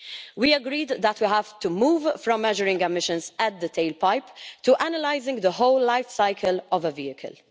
We agreed that we have to move from measuring emissions at the tail pipe to analysing the whole life cycle of a vehicle.